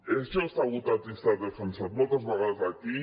això s’ha votat i s’ha defensat moltes vegades aquí